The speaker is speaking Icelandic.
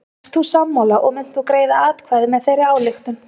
Ert þú sammála og munt þú greiða atkvæði með þeirri ályktun?